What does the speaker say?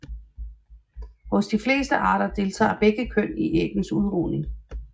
Hos de fleste arter deltager begge køn i æggenes udrugning